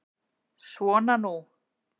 Svona nú.